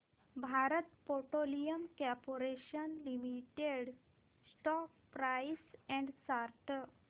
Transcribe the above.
Bharat petroleum corporation limited stock price and chart